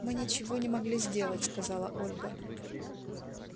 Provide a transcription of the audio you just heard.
мы ничего не могли сделать сказала ольга